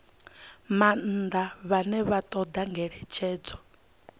maanḓa vhane vha ṱoḓa ngeletshedzo